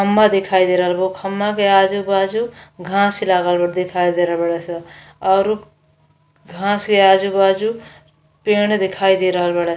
खम्बा दिखाई दे रहल बा खम्बा के आजु बाजु घांस लाग बा दिखाए दे रहल बारेसन और घांस के आजु बाजु पेड़ दिखाई दे रहल बारेन।